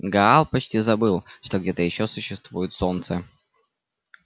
гаал почти забыл что где-то ещё существует солнце